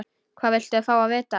Hvað viltu fá að vita?